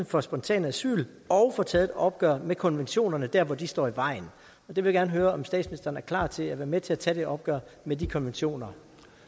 for spontan asyl og får taget et opgør med konventionerne dér hvor de står i vejen jeg vil gerne høre om statsministeren er klar til at være med til at tage det opgør med de konventioner